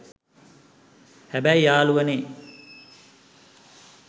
හැබැයි යාළුවනේ